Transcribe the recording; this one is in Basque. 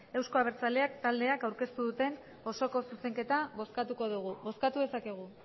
euzko abertzaleak taldeak aurkeztu duten osoko zuzenketa bozkatuko dugu bozkatu dezakegu